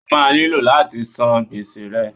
O máa nílò láti san gbèsè rẹ.